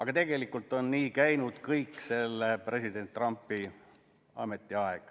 Ja tegelikult on nii käinud kogu president Trumpi ametiajal.